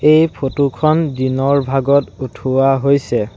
এই ফটো খন দিনৰ ভাগত উঠোৱা হৈছে।